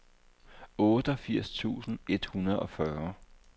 otteogfirs tusind et hundrede og fyrre